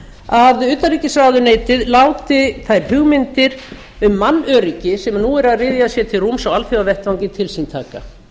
að utanríkisráðuneytið láti þær hugmyndir um mannöryggi sem nú eru að ryðja sér til rúms á alþjóðavettvangi til sín